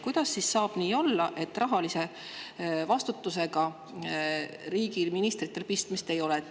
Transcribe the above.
Kuidas saab nii olla, et rahalise vastutusega ei ole riigil, ministritel pistmist?